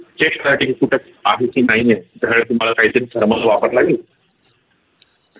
नाही आहे